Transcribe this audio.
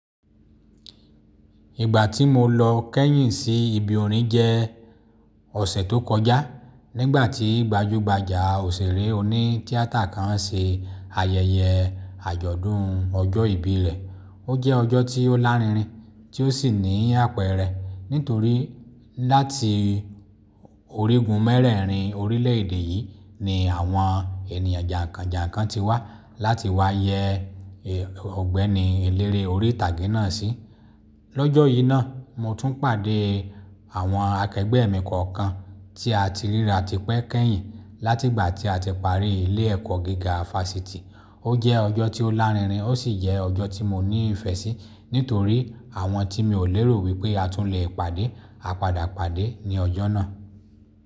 Ìgbà tí mo lọ kẹ́yìn sí ibi orin jẹ́ ọ̀sẹ̀ tó kọjá, nígbà tí gbajúgbajà òṣèré oní tíátà kan se ayẹyẹ àjọ̀dún ọjọ́ ìbí rẹ. Ó jẹ́ ọjọ́ tí ó lárinrin tí ó sì ní àpẹẹrẹ nítorí láti orígun mẹ́rẹ̀ẹ̀rin orílẹ̀èdè yìí ni àwọn ènìyàn jànkànjànkàn ti wá láti wá yẹ Ọ̀gbẹ́ni eléré orí ìtàgé náà sí. Lọ́jọ́ yìí náà mo tún pàdé àwọn akẹgbẹ́ mi kọ̀ọ̀kan tí a ti ríra tipẹ́ kẹ́yìn láti ìgbà tí a ti parí ilé ẹ̀kọ́ gíga fáṣítì. Ó jẹ́ ọjọ́ tí ó lárinrin ó sì jẹ́ ọjọ́ tí mo ní ìfẹ́ sí nítorí àwọn tí mi ò lérò wípé a tún le pàdé, a padà pàdé ní ọjọ́ náà.